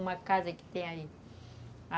Uma casa que tem aí.